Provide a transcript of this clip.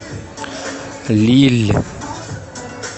лилль